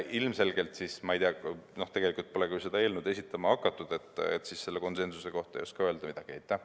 Ma ei tea, tegelikult pole küll seda eelnõu esitama hakatud, nii et selle konsensuse kohta ei oska midagi öelda.